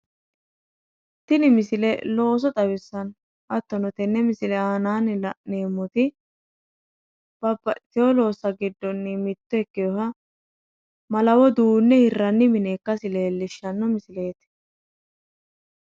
tini misile looso xawissanno hattono tenne misile aanaanni la'neemmoti babaxitino loossanni mitto ikkinoha malawo duunne hirranni mineeti.